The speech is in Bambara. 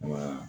Wa